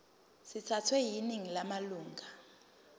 sithathwe yiningi lamalunga